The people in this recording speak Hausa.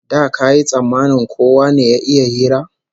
Da kayi tsammanin kowa ne ya iya hira?